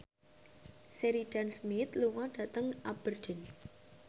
Sheridan Smith lunga dhateng Aberdeen